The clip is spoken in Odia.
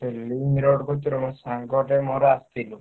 ସେଇ link road କତିରୁ ମୋ ସାଙ୍ଗଟେ ମୋର ଆସଥିଲୁ।